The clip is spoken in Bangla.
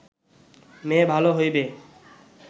মেয়ে ভাল হইবে